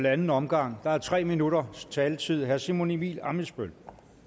anden omgang og der er tre minutters taletid herre simon emil ammitzbøll